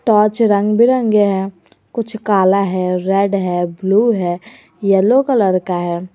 पांच रंग बिरंगे हैं कुछ काला है रेड है ब्लू है येलो कलर का है।